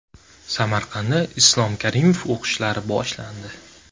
Samarqandda Islom Karimov o‘qishlari boshlandi.